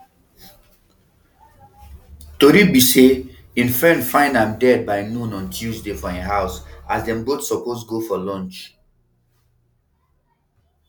tori be say im friend find am dead by noon on tuesday for im house as dem both suppose go for lunch